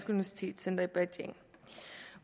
universitetscenter i beijing